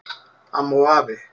Amma og afi